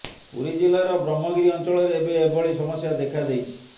ପୁରୀ ଜିଲ୍ଲାର ବ୍ରହ୍ମଗିରି ଅଞ୍ଚଳରେ ଏବେ ଏଭଳି ସମସ୍ୟା ଦେଖା ଦେଇଛି